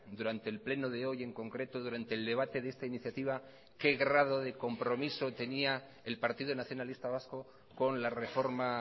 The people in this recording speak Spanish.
durante el pleno de hoy en concreto durante el debate de esta iniciativa qué grado de compromiso tenía el partido nacionalista vasco con la reforma